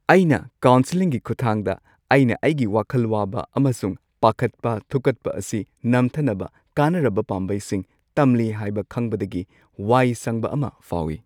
ꯑꯩꯅ ꯀꯥꯎꯟꯁꯤꯂꯤꯡꯒꯤ ꯈꯨꯠꯊꯥꯡꯗ, ꯑꯩꯅ ꯑꯩꯒꯤ ꯋꯥꯈꯜ ꯋꯥꯕ ꯑꯃꯁꯨꯡ ꯄꯥꯈꯠꯄ ꯊꯨꯛꯀꯠꯄ ꯑꯁꯤ ꯅꯝꯊꯅꯕ ꯀꯥꯟꯅꯔꯕ ꯄꯥꯝꯕꯩꯁꯤꯡ ꯇꯝꯂꯤ ꯍꯥꯏꯕ ꯈꯪꯕꯗꯒꯤ ꯋꯥꯏ ꯁꯪꯕ ꯑꯃ ꯐꯥꯎꯏ ꯫